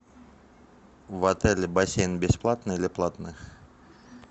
в отеле бассейн бесплатный или платный